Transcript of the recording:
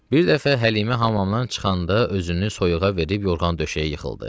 Bir dəfə Həlimə hamamdan çıxanda özünü soyuğa verib, yorğan-döşəyə yıxıldı.